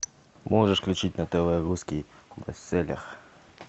можешь включить на тв русский бестселлер